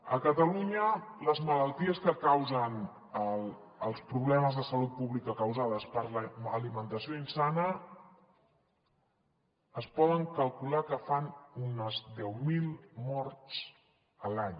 a catalunya les malalties que causen els problemes de salut pública causades per l’alimentació insana es pot calcular que fan unes deu mil morts a l’any